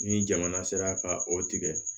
Ni jamana sera ka o tigɛ